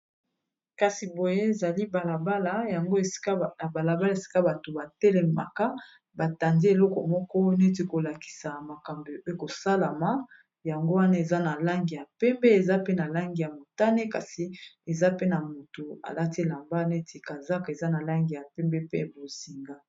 Kasi boye ezali balabala yango balabala esika bato batelemaka batandi eloko moko neti kolakisa makambo e kosalama yango wana eza na langi ya pembe eza pe na langi ya motane kasi eza pe na moto alati elamba neti kazac eza na langi ya pembe pe bozinga.